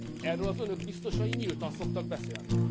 Erről az Önök biztosai nyíltan szoktak beszélni.